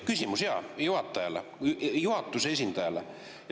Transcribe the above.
Küsimus, jaa, juhatajale, juhatuse esindajale.